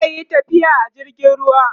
zaiyi tafiya a jirgin ruwa